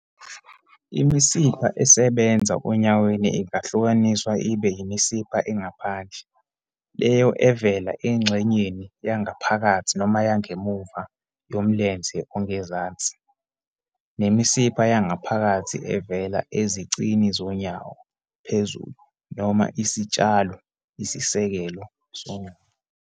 Imisipha esebenza onyaweni ingahlukaniswa ibe yimisipha engaphandle, leyo evela engxenyeni yangaphakathi noma yangemuva yomlenze ongezansi, nemisipha yangaphakathi, evela ezicini zonyawo, phezulu, noma isitshalo, isisekelo, sonyawo.